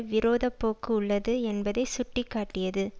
விரோத போக்கு உள்ளது என்பதை சுட்டி காட்டியது